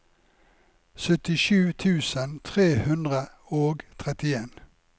syttisju tusen tre hundre og trettien